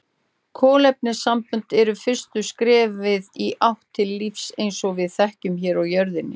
Kolefnissambönd eru fyrsta skrefið í átt til lífs eins og við þekkjum hér á jörðinni.